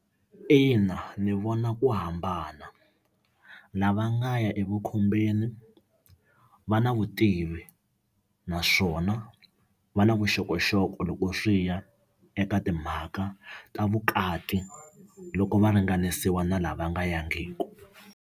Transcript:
Ina, ni vona ku hambana lava nga ya evukhombeni va na vutivi naswona va na vuxokoxoko loko swi ya eka timhaka ta vukati loko va ringanisiwa na lava nga yangiki.